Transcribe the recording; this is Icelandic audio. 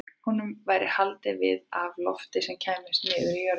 Honum væri haldið við af lofti sem kæmist niður í jörðina.